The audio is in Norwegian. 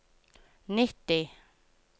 nitti